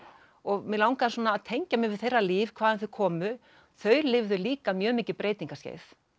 og mig langaði að tengja mig við þeirra líf hvaðan þau komu þau lifðu líka mjög mikið breytingaskeið